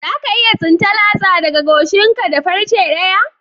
Za ka iya tsinta latsa daga gashin ka da farce daya?